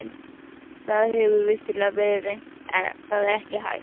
Það hefur vissulega verið reynt en það er ekki hægt.